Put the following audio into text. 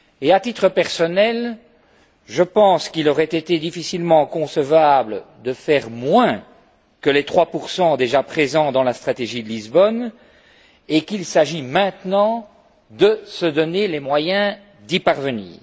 À titre personnel, je pense qu'il aurait été difficilement concevable de faire moins que les 3 déjà présents dans la stratégie de Lisbonne et qu'il s'agit maintenant de se donner les moyens d'y parvenir.